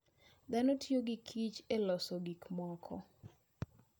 Dhano tiyo gi kich e loso gik moko.